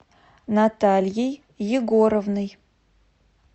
натальей егоровной